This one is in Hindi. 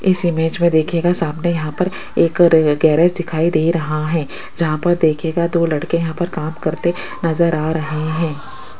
इस इमेज में देखिएगा सामने यहां पर एक र गैरेज दिखाई दे रहा है जहां पर देखिएगा दो लड़के यहां पर काम करते नजर आ रहे हैं।